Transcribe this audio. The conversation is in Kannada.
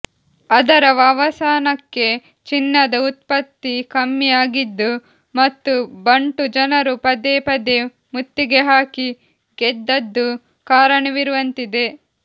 ಅದರ ಅವಸಾನಕ್ಕೆ ಚಿನ್ನದ ಉತ್ಪತ್ತಿ ಕಮ್ಮಿ ಆಗಿದ್ದು ಮತ್ತು ಬಂಟು ಜನರು ಪದೇ ಪದೇ ಮುತ್ತಿಗೆ ಹಾಕಿ ಗೆದ್ದದ್ದು ಕಾರಣವಿರುವಂತಿದೆ